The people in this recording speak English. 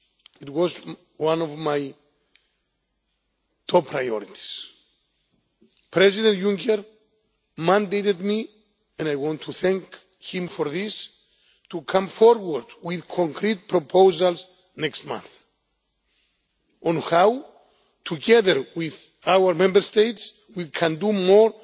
It was one of my top priorities. President Juncker mandated me and I want to thank him for this to come forward with concrete proposals next month on how, together with our Member States, we can do